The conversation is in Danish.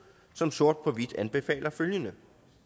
som sort på hvidt anbefaler følgende